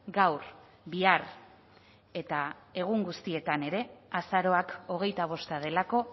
gaur bihar eta egun guztietan ere azaroak hogeita bosta delako